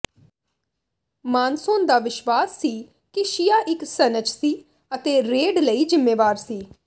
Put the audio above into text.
ਮਾਨਸੋਨ ਦਾ ਵਿਸ਼ਵਾਸ ਸੀ ਕਿ ਸ਼ੀਆ ਇੱਕ ਸਨਚ ਸੀ ਅਤੇ ਰੇਡ ਲਈ ਜ਼ਿੰਮੇਵਾਰ ਸੀ